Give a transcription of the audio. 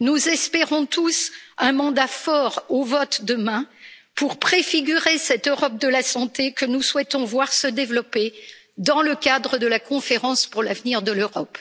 Nous espérons tous un mandat fort au vote demain, pour préfigurer cette Europe de la santé que nous souhaitons voir se développer dans le cadre de la conférence pour l'avenir de l'Europe.